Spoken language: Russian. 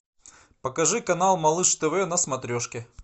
покажи канал малыш тв на смотрешке